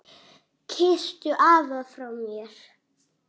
Kysstu afa frá mér.